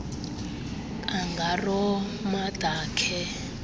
kangaroo mother care